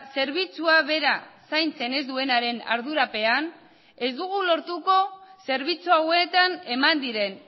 zerbitzua bera zaintzen ez duenaren ardurapean ez dugu lortuko zerbitzu hauetan eman diren